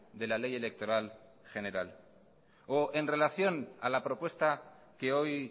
de la ley electoral general o en relación a la propuesta que hoy